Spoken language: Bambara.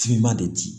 Finma de di